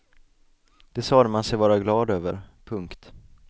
Det sade man sig vara glad över. punkt